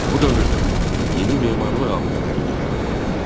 Bu dövrdə yeni memarlıq abidələri də yaradıldı.